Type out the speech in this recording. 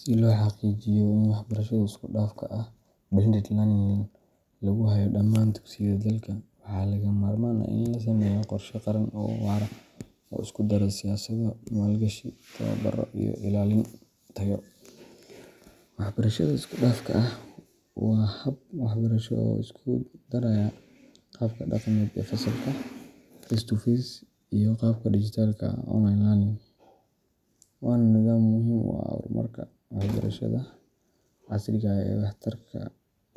Si loo xaqiijiyo in waxbarashada isku dhafka ah blended learning lagu hayo dhammaan dugsiyada dalka, waxaa lagama maarmaan ah in la sameeyo qorshe qaran oo waara oo isku dara siyaasado, maalgashi, tababaro, iyo ilaalin tayo. Waxbarashada isku dhafka ah waa hab waxbarasho oo isku daraya qaabka dhaqameed ee fasalka face-to-face learning iyo qaabka dhijitaalka ah online learning, waana nidaam muhiim u ah horumarka waxbarashada casriga ah ee waxtarka